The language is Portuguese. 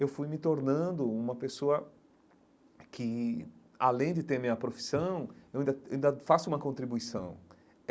Eu fui me tornando uma pessoa que, além de ter minha profissão, eu ainda eu ainda faço uma contribuição.